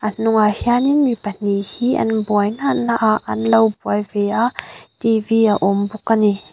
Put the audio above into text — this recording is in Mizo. a hnungah hianin mi pahnih hi an buai na na ah anlo buaive a t v a awm bawk a ni.